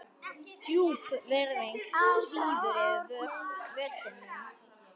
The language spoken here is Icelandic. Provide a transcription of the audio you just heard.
Djúp virðing svífur yfir vötnum.